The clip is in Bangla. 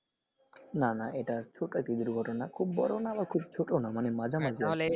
না না এটা ছোটো একটি দুর্ঘটনা খুব বড়ও না খুব ছোটো না মানে মাঝামাঝি